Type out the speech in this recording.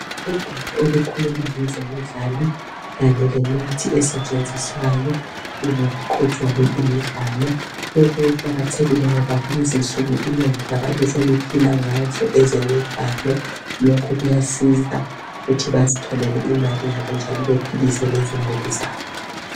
Ugwalo olukhuluma ngezemidlalo kanye lemithi esetshenziswayo uma kuqhutshwa le imidlalo lokhu kuqakathekile ngoba lezinsuku inengi labantu seliphila ngazo ezemidlalo lokhu kuyasiza ukuthi bazitholele imali yabo njalo bephilise lezimuli zabo.